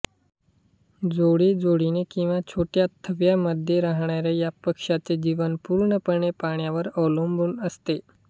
जोडी जोडीने किवा छोट्या थव्यामध्ये राहणाऱ्या या पक्ष्याचे जीवन पूर्णपणे पाण्यावर अवलंबून असते